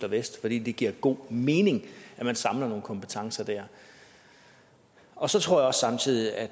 i vest fordi det giver god mening at man samler nogle kompetencer der og så tror jeg samtidig at